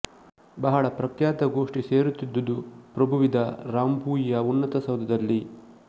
ಬಹಳ ಪ್ರಖ್ಯಾತ ಗೋಷ್ಠಿ ಸೇರುತ್ತಿದ್ದುದು ಪ್ರಭುವಿದ ರಾಮ್ಬೂಯಿಯ ಉನ್ನತ ಸೌಧದಲ್ಲಿ